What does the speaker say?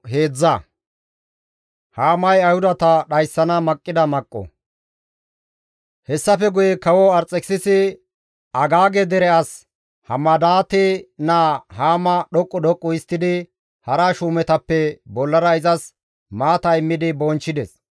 Hessafe guye kawo Arxekisisi Agaage dere as Hamadaate naa Haama dhoqqu dhoqqu histtidi hara shuumetappe bollara izas maata immidi bonchchides.